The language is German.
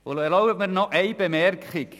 Erlauben Sie mir noch eine Bemerkung: